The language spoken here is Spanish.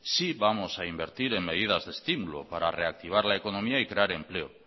sí vamos a invertir en medidas de estímulo para reactivar la economía y crear empleo